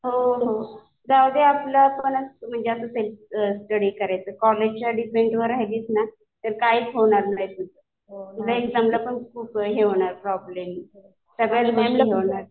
हो हो. जाऊदे आपलं पण असं म्हणजे सेल्फ स्टडी करायचं. कॉलेजच्या डिपेंडवर राहिलीस ना तर काहीच होणार नाही तुझं. पुन्हा एक्झामला पण खूप हे होणार प्रॉब्लेम्स. सगळ्याच गोष्टी हे होणार.